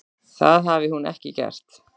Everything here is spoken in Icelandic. Það hafi hún ekki gert.